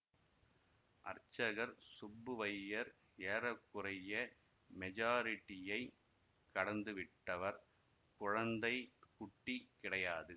அர்ச்சகர் சுப்புவையர் ஏற குறைய மெஜாரிட்டியைக் கடந்துவிட்டவர் குழந்தை குட்டி கிடையாது